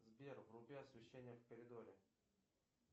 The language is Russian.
сбер вруби освещение в коридоре